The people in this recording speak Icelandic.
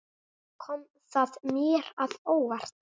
Kom það mér að óvart?